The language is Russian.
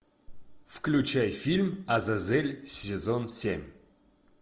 включай фильм азазель сезон семь